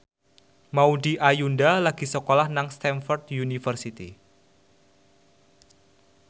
Maudy Ayunda lagi sekolah nang Stamford University